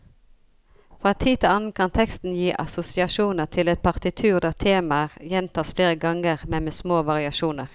Fra tid til annen kan teksten gi assosiasjoner til et partitur der temaer gjentas flere ganger, men med små variasjoner.